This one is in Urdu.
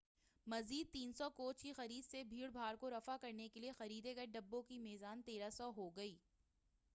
مزید 300 کوچ کی خرید سے بھیڑ بھاڑ کو رفع کرنے کے لئے خریدے گئے ڈبوں کی میزان 1300 ہو گئی